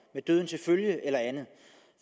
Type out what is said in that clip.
med døden til følge eller andet